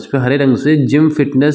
हरे रंग से gym fitness --